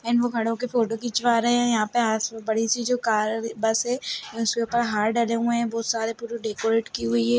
And वो खडे हो के फोटो खिंचवा रहे है यहाँ पे अ-आस बड़ी सी जो कार है बस है उसके ऊपर हार डले हुए है बहुत सारे पूरी डेकोरेट की हुई हैं।